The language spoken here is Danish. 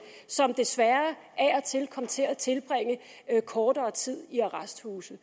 som desværre af og til kommer til at tilbringe kortere tid i arresthuse